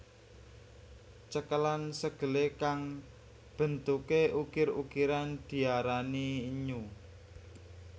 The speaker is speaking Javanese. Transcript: Cekelan segele kang bentuke ukir ukiran diarani innyu